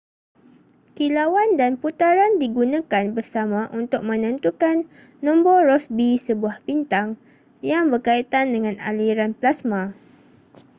kilauan dan putaran digunakan bersama untuk menentukan nombor rossby sebuah bintang yang berkaitan dengan aliran plasma